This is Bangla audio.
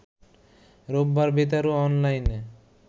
রোববার বেতার ও অনলাইনে